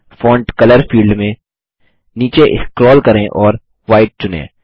font colour field में नीचे scroll करें और व्हाइट चुनें